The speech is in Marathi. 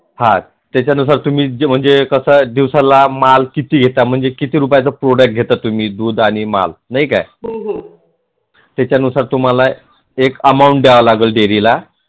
हां त्याच्यानुसार तुम्ही कस ते दिवसाला माल किती घेता म्हणजे किती रूपयांचा product घेता तुम्ही दुध आणी माप नाही काय त्याच्यानुसार तुम्हाला एक amount द्याव लागत dairy ला